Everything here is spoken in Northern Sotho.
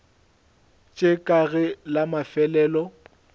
tše kae ge la mafelelo